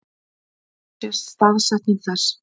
Hér sést staðsetning þess.